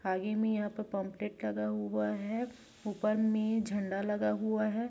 आगे में यहाँ पर पंपलेट लगा हुआ है ऊपर में झंडा लगा हुआ है।